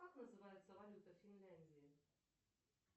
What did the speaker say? как называется валюта финляндии